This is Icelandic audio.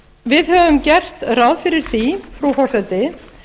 við höfum gert ráð fyrir því frú forseti